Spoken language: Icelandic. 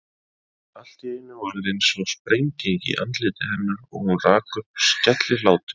Allt í einu varð einsog sprenging í andliti hennar og hún rak upp skellihlátur.